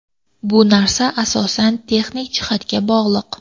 Bu narsa asosan texnik jihatga bog‘liq.